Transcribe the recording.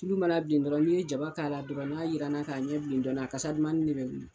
Tulu mana bilen dɔrɔn n'i ye jaba k'a la dɔrɔn n'a jiraranna k'a ɲɛ bilen dɔɔnin a kasadumanni de bɛ wuli